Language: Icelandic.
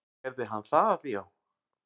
Gerði hann það já?